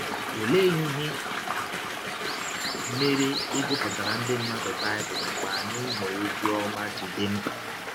Ọlee ihe mere ịgụpụtara ndị mmadụ Baịbụl mgbe anyị nọ ọzi ọma ji dị mkpa?